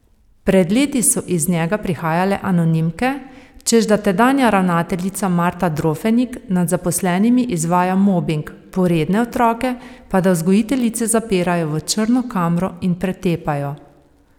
Pred leti so iz njega prihajale anonimke, češ da tedanja ravnateljica Marta Drofenik nad zaposlenimi izvaja mobing, poredne otroke pa da vzgojiteljice zapirajo v črno kamro in pretepajo.